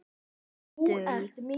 Besta dul